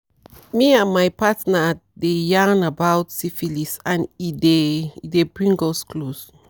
me and my partner tdey yarn about syphilis and e dey e dey bring us close